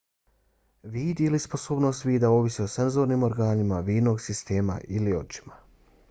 vid ili sposobnost vida ovisi o senzornim organima vidnog sistema ili očima